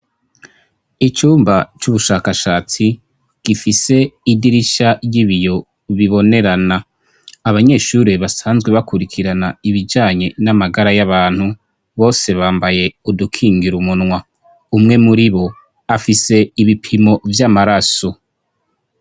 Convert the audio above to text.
Icumba c'ubushakashatsi gifise idirisha ry'ibiyo bibonerana, abanyeshure basanzwe bakurikirana ibijanye n'amagara y'abantu, bose bambaye udukingira umunwa, umwe muribo afise ibipimo vy'amaraso.